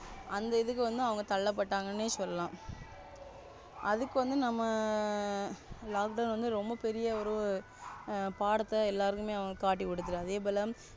அந்த இதுக்கு வந்து அவங்க தள்ளப்பட்டங்கன்னு சொல்லலாம். அதுக்கு நம்ம Lockdown ரொம்ப பெரிய ஒரு பாடத்தை எல்லாருமே அவன் காட்டிக் கொடுத்து அதேபோல,